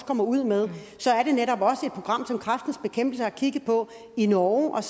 kommer ud med er det netop også et program som kræftens bekæmpelse har kigget på i norge